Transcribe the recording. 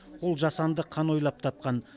ол жасанды қан ойлап тапқан